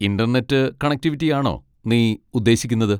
Internet കണക്റ്റിവിറ്റിയാണോ നീ ഉദ്ദേശിക്കുന്നത്?